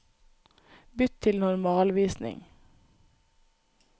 Bytt til normalvisning